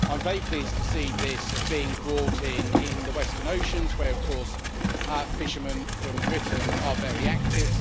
I'm very pleased to see this being brought in in the western oceans, where of course fishermen from Britain are very active.